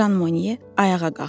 Jan Mone ayağa qalxdı.